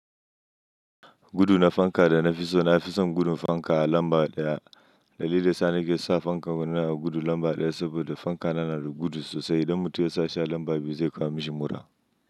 Gudu na fanka da nafiso, nafison gudun fanka lamba ɗaya. Dalilinda yasa nike sa fankan na gudu lamba ɗaya saboda fanka na na gudu sosai. Idan mutum yasa shi a lamba biyu zai kawo mishi mura.